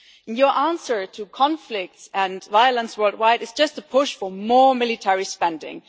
Your answer to conflicts and violence worldwide is just to push for more military spending.